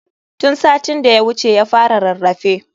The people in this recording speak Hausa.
Tun satin da ya wuce ya fara rarrafe.